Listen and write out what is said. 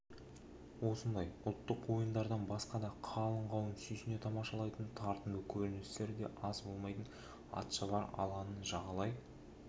осындай ұлттық ойындардан басқа да қалың қауым сүйсіне тамашалайтын тартымды көріністер аз болмайды атшабар алаңын жағалай